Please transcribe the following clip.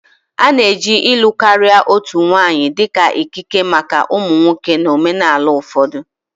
A na-eji ịlụ karịa otu nwanyị dị ka ikike maka ụmụ nwoke na omenala ụfọdụ